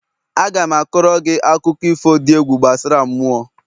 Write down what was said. Aga m a koro gị akụkọ ifo dị egwu gbasara mmụọ